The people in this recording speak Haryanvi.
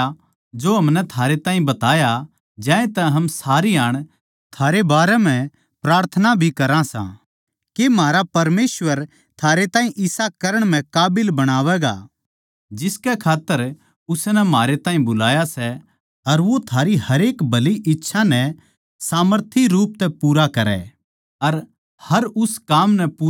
ज्यांतै हम सारी हाण थारै बारै म्ह प्रार्थना भी करा सां के म्हारा परमेसवर थारै ताहीं इसा करण म्ह काबिल बणावैगा जिसकै खात्तर उसनै म्हारे ताहीं बुलाया सै अर वो थारी हरेक भली इच्छा नै सामर्थी रूप तै पूरा करै अर हर उस काम नै पूरा करा जो थम बिश्वास तै करो सों